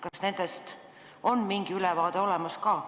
Kas nendest on mingi ülevaade olemas?